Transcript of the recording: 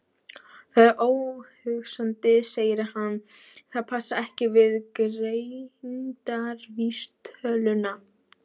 Það er óhugsandi, segir hann, það passar ekki við greindarvísitöluna.